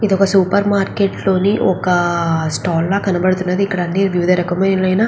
ఇది ఒక supermarket లో ఒక స్టాల్